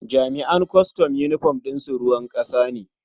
Jami'an kwastam yunifom ɗin su ruwan ƙasa ne.